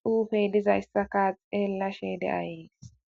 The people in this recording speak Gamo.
xuufey dizayssaka xeellashe deayes.